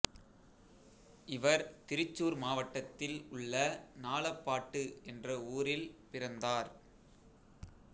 இவர் திருச்சூர் மாவட்டத்தில் உள்ள நாலப்பாட்டு என்ற ஊரில் பிறந்தார்